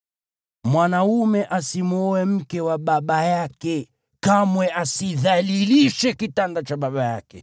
Mwanaume asimwoe mke wa baba yake; kamwe asidhalilishe kitanda cha baba yake.